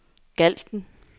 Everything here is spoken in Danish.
Galten